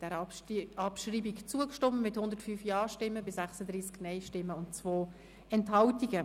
Sie haben der Abschreibung zugestimmt mit 105 Ja- zu 36 Nein-Stimmen bei 2 Enthaltungen.